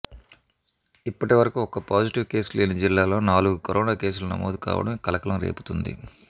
ఇప్పటివరకు ఒక్క positive case లేని జిల్లాలో నాలుగు కరోనా కేసులు నమోదు కావడం కలకలం రేపుతోంది